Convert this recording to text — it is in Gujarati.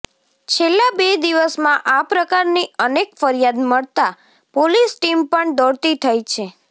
છેલ્લા બે દિવસમાં આ પ્રકારની અનેક ફરિયાદ મળતા પોલીસ ટીમ પણ દોડતી થઇ છે